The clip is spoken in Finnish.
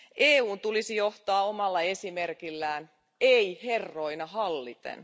EUn tulisi johtaa omalla esimerkillään, ei herroina halliten.